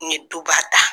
N ye duba ta